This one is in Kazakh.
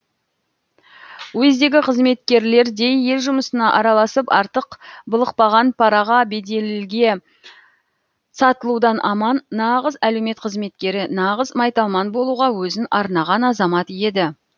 уездегі қызметкерлердей ел жұмысына араласып артық былықпаған параға беделге сатылудан аман нағыз әлеумет қызметкері нағыз майталман болуға өзін арнаған азамат еді